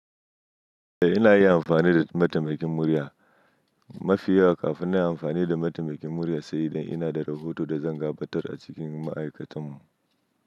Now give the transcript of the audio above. Eh ina iya amfani da mataimakin murya mafi yawa kafin na yi amfani da mataimakin murya, sai dai ina da rahoto da zan gabatar a cikin ma'aikatanmu.